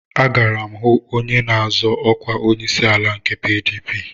Agara m onye na-azọ ọkwa onyeisiala nke PDP